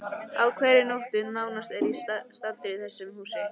Á hverri nóttu nánast er ég staddur í þessu húsi.